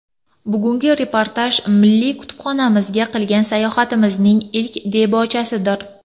Bugungi reportaj milliy kutubxonamizga qilgan sayohatimning ilk debochasidir.